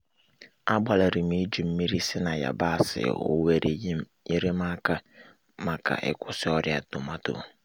um agbalirim e-ji mmiri si-na yabasị owere yerem-aka maka maka ikwusi ọrịa tomato um